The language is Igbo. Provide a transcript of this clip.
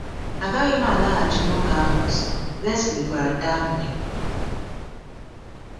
“Agaghị m alaghachi n’ụka ahụ ọzọ,” Lesley gwara Daphne.